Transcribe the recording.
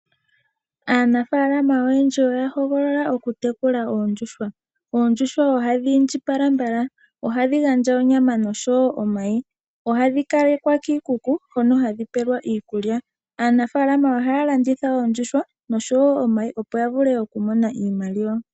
Aanafaalama oyendji oya hogolola oku tekula oondjuhwa. Oondjuhwa ohadhi indjipala mbala. Ohadhi gandja onyama noshowo omayi. Ohadhi kalekwa kiikuku hono hadhi pelwa iikulya. Aanafaalama ohaya landitha oondjuhwa noshowo omayi opo ya vule oku mona iimaliwa.